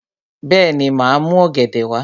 Bẹ́ẹ̀ni, màá mú ọ̀gẹ̀dẹ̀ wá